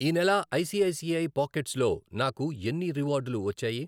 ఈ నెల I C I C I pockets లో నాకు ఎన్ని రివార్డులు వచ్చాయి?